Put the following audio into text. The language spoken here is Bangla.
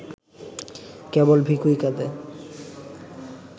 কেবল ভিখুই কাঁধে